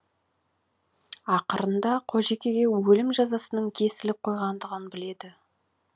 ақырында қожекеге өлім жазасының кесіліп қойғандығын біледі